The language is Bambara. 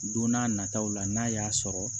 Don n'a nataw la n'a y'a sɔrɔ